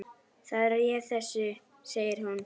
Það réð þessu, segir hún.